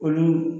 Olu